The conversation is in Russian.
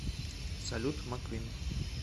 салют маквин